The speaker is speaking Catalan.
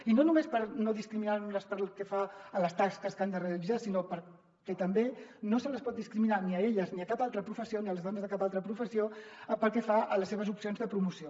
i no només per no discriminar·les pel que fa a les tasques que han de realitzar sinó perquè tampoc se les pot discriminar ni a elles ni a les dones de cap altra professió pel que fa a les seves opcions de promoció